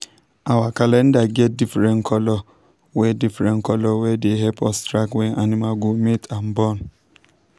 our calendar get different colour wey different colour wey de help us track when animals go mate and born.